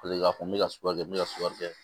Paseke k'a fɔ n bɛ ka sukaro kɛ n bɛ ka sukaro kɛ